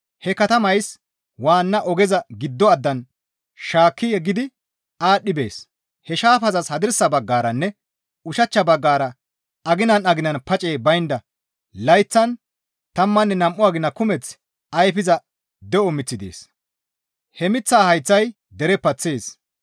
He shaafazi he katamays waanna ogeza giddo addan shaakki yeggidi aadhdhi bees; he shaafazas hadirsa baggaranne ushachcha baggara aginan aginan pacey baynda layththan tammanne nam7u agina kumeth ayfiza de7o miththi dees; he miththaa hayththay dere paththees.